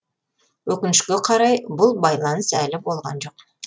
өкінішке орай бұл байланыс әлі болған жоқ